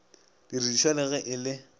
didirišwa le ge e le